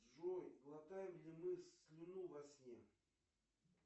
джой глотаем ли мы слюну во сне